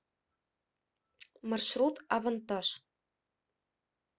маршрут авантаж